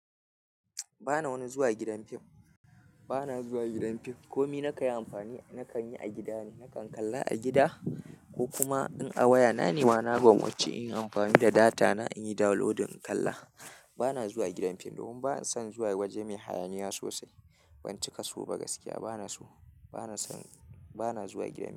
Ba na wani zuwa gidan fim. Ba na zuwa gidan fim komi na kan yi amfani, na kan yi a gida ne. Na kan kalla a gida ko kuma in a waya. Na nema na gwammaci in yi amfani da data na in yi download in kalla. Ba na zuwa gidan fim domin ba na son zuwa waje mai hayaniya sosai. Ban cika so ba gaskiya. Ba na so, ba na son, ba na zuwa gidan fim.